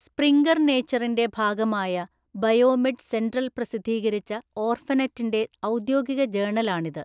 Sprinkler നേച്ചറിന്റെ ഭാഗമായ BioMed Central പ്രസിദ്ധീകരിച്ച ഓർഫനെറ്റിന്റെ ഔദ്യോഗിക ജേണലാണിത്.